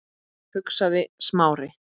hugsaði Smári.